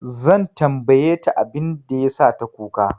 Zan tambaye ta abin da ya sa ta kuka.